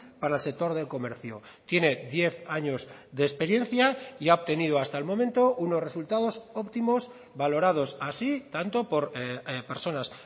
para el sector del comercio tiene diez años de experiencia y ha obtenido hasta el momento unos resultados óptimos valorados así tanto por personas